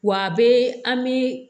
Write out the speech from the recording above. Wa a bɛ an bi